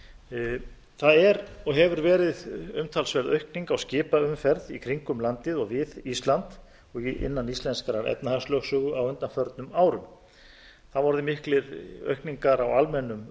rædd það er og hefur verið umtalsverð aukning á skipaumferð í kringum landið og við ísland og innan íslenskrar efnahagslögsögu á undanförnum árum það hafa orðið miklar aukningar á almennum